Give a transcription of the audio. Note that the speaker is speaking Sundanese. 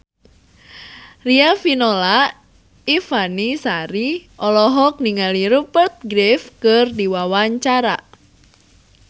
Riafinola Ifani Sari olohok ningali Rupert Graves keur diwawancara